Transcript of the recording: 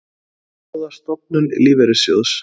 Skoða stofnun lífeyrissjóðs